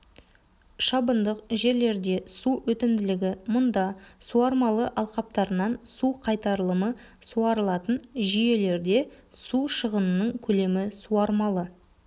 шабындық жерлерде су өтімділігі мұнда суармалы алқаптарынан су қайтарылымы суарылатын жүйелерде су шығының көлемі суармалы